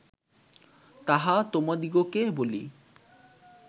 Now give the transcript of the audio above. তাহা তোমাদিগকে বলি